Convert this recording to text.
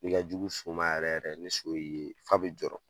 N'i ka jugu so ma yɛrɛ yɛrɛ ni so y'i ye f'a be jɔrɔ.